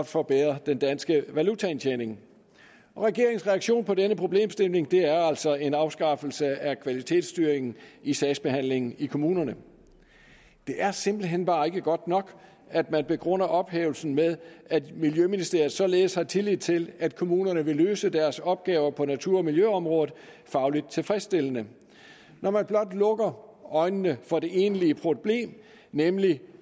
forbedre den danske valutaindtjening regeringens reaktion på denne problemstilling er altså en afskaffelse af kvalitetsstyringen i sagsbehandlingen i kommunerne det er simpelt hen bare ikke godt nok at man begrunder ophævelsen med at miljøministeriet således har tillid til at kommunerne vil løse deres opgaver på natur og miljøområdet faglig tilfredsstillende når man blot lukker øjnene for det egentlige problem nemlig